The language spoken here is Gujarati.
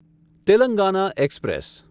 તેલંગાના એક્સપ્રેસ